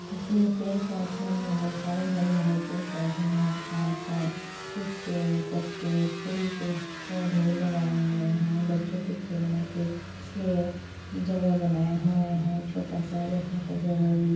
इसमें पेड़ पौधे बहुत सारे हरे हरे पेड़ पौधे हैं घास हे कुछ आ पत्ते फूल पे पौधे लगाए हुए हैं बच्चों के खेलने के लिए जगह बनाए हुए हैं छोटा सा बेठने का जगा भी--